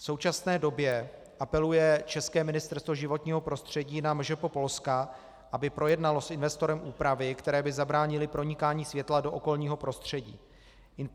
V současné době apeluje české Ministerstvo životního prostředí na MŽP Polska, aby projednalo s investorem úpravy, které by zabránily pronikání světla do okolního prostředí.